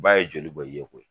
Ba ye joli bɔn i ye koyi